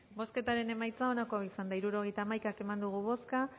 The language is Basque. bozketaren emaitza onako izan da hirurogeita hamaika eman dugu bozka